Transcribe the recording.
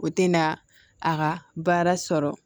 O tɛna a ka baara sɔrɔ